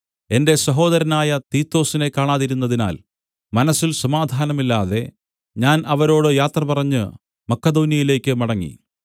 എന്റെ സഹോദരനായ തീത്തൊസിനെ കാണാതിരുന്നതിനാൽ മനസ്സിൽ സമാധാനമില്ലാതെ ഞാൻ അവരോട് യാത്രപറഞ്ഞ് മക്കെദോന്യെയിലേക്ക് മടങ്ങി